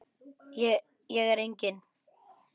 Hér er enginn.